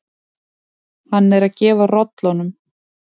Hann er að gefa rollunum.